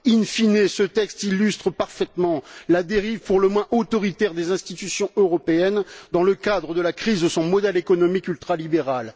In fine, ce texte illustre parfaitement la dérive pour le moins autoritaire des institutions européennes dans le cadre de la crise de son modèle économique ultralibéral.